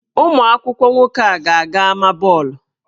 Ụmụ akwụkwọ nwoke a ga-aga ámá bọọlụ?